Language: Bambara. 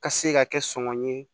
Ka se ka kɛ sɔngɔ ye